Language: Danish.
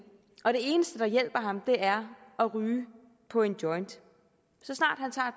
og det eneste der hjælper ham er at ryge på en joint så snart